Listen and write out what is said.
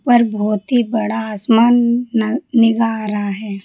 ऊपर बहोत ही बड़ा आसमान न निगाह रहा है।